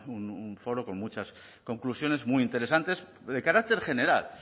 un foro con muchas conclusiones muy interesantes de carácter general